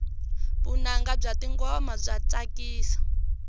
vunanga bya tingoma bya tsakisa